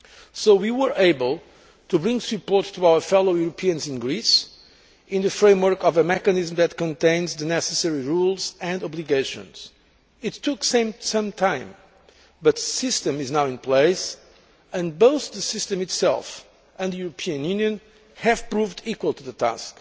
So we were able to bring support to our fellow Europeans in Greece, in the framework of a mechanism that contains the necessary rules and obligations. It took some time but the system is now in place. Both the system itself, and the European Union, have proved equal to the task.